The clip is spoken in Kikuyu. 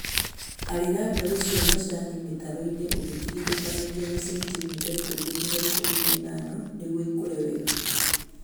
Arĩra mbegũ cia macani mĩtaroinĩ ũgĩtigithũkanagia na sentimita ikũmi nginya ikũmi na ithano nĩguo ikũre wega